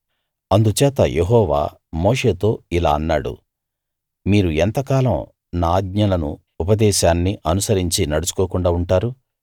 అందుచేత యెహోవా మోషేతో ఇలా అన్నాడు మీరు ఎంతకాలం నా ఆజ్ఞలను ఉపదేశాన్ని అనుసరించి నడుచుకోకుండా ఉంటారు